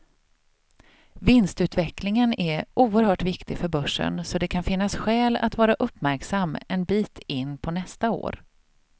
Vinstutvecklingen är oerhört viktig för börsen, så det kan finnas skäl att vara uppmärksam en bit in på nästa år.